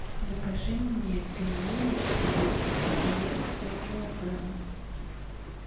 закажи мне пельмени сибирская коллекция килограмм